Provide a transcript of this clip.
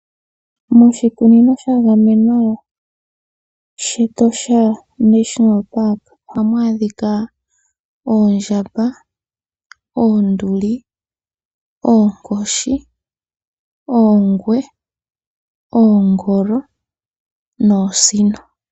Moshikunino sha gamenwa shEtosha National Park ohamu adhika oondjamba, oonduli, oonkoshi, oongwe, oongolo noosino.